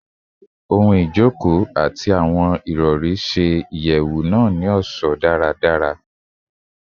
Ijoko ohun-ọṣọ ati awọn irọri jabọ ṣe iraye si iyẹwu naa ni didara